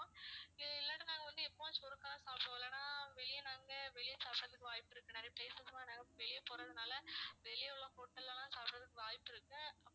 இ~ இல்லாட்டி நாங்க வந்து எப்பவாச்சு ஒருக்கா சாப்பிடுவோம் இல்லனா வெளிய நாங்க வெளிய சாப்பிடுறதுக்கு வாய்ப்பு இருக்கு நிறைய places லாம் நாங்க வெளிய போறதுனால வெளிய உள்ள hotel ல எல்லாம் சாப்பிடுறதுக்கு வாய்ப்பிருக்கு